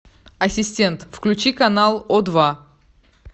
ассистент включи канал о два